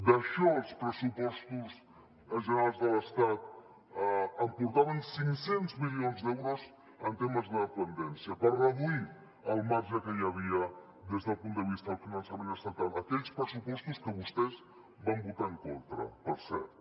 d’això els pressupostos generals de l’estat en portaven cinc cents milions d’euros en temes de dependència per reduir el marge que hi havia des del punt de vista del finançament estatal aquells pressupostos que vostès van votar en contra per cert